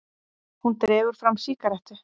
Hún dregur fram sígarettu.